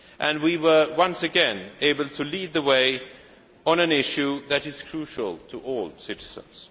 And we were once again able to lead the way on an issue that is crucial to all citizens.